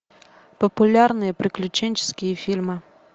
популярные приключенческие фильмы